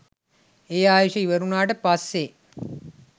ඒ ආයුෂ ඉවර වුණාට පස්සේ